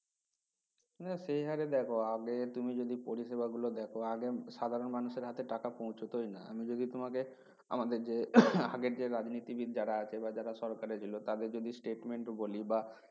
না সেহারে দেখো আগে তুমি যদি পরিষেবা গুলো দেখ আগে সাধারণ মানুষের হাতে টাকা পৌঁছাতই না যদি তাঁকে আমাদের যে আগের যে রাজনীতি বিড যারা আছে বা যারা সরকারে ছিল তাদের যদি statement বলি বা